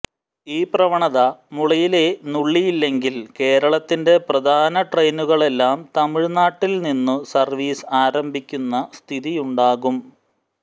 ഈ പ്രവണത മുളയില്ലേ നുള്ളിയില്ലെങ്കിൽ കേരളത്തിന്റെ പ്രധാന ട്രെയിനുകളെല്ലാം തമിഴ്നാട്ടിൽനിന്നു സർവീസ് ആരംഭിക്കുന്ന സ്ഥിതിയുണ്ടാകും